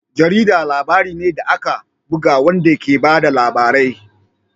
Jarida labari ne da aka buga wanda ke ba da labarai.